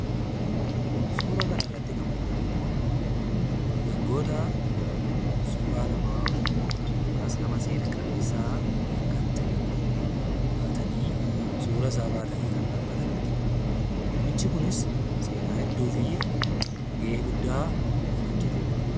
Suura kana irratti kan mul'atu immoo, dargaggoota suuraa namaa yookaas nama seenaa qabeessa kan ta'e, kan baatan argina. Namichi kunis seenaa hedduu fi gahee guddaa kan hojjetedha.